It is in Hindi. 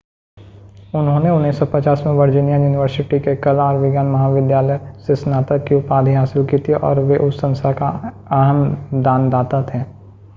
उन्होंने 1950 में वर्जीनिया यूनिवर्सिटी के कला और विज्ञान महाविद्यालय से स्नातक की उपाधि हासिल की थी और वे उस संस्था के अहम दानदाता थे